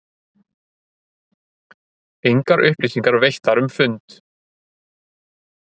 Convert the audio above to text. Engar upplýsingar veittar um fund